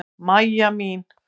Mæja mín.